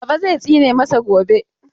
Baba zai tsine masa gobe.